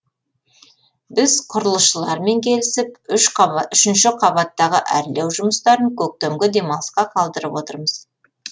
біз құрылысшылармен келісіп үш қабат үшінші қабаттағы әрлеу жұмыстарын көктемгі демалысқа қалдырып отырмыз